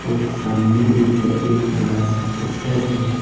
और सामने ऊपर एक बड़ा सा पोस्टर है।